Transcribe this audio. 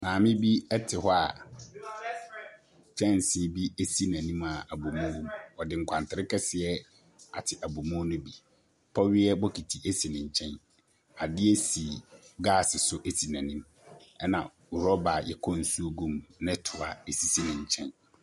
Maame bi te hɔ a kyɛnse bi si n'anim a abomu wom. Ɔde nkwantere kɛseɛ ate abomu no bi. Pɔweɛ bokiti si ne nkyɛn. Adeɛ si gas so si n'anim, ɛnna rɔba a wɔkɔ nsuo gu mu ne toa si ne nkyɛn.